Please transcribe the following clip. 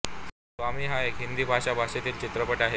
स्वामी हा एक हिंदी भाषा भाषेतील चित्रपट आहे